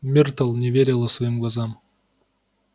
миртл не верила своим глазам